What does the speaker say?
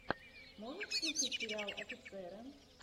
можешь включить сериал офицеры